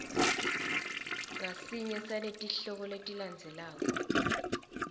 ngasinye saletihloko letilandzelako